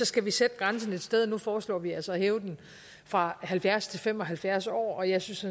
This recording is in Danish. skal vi sætte grænsen et sted nu foreslår vi altså at hæve den fra halvfjerds år til fem og halvfjerds år og jeg synes